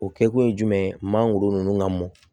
O kɛkun ye jumɛn ye mangoro ninnu ka mɔn